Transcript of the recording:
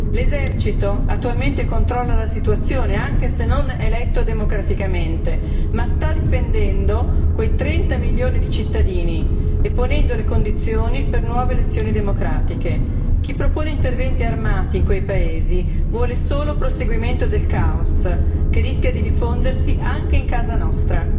L'esercito attualmente controlla la situazione, anche se non eletto democraticamente, ma sta difendendo quei 30 milioni di cittadini e ponendo le condizioni per nuove elezioni democratiche. Chi propone interventi armati in quei paesi vuole solo il proseguimento del caos, che rischia di diffondersi anche in casa nostra.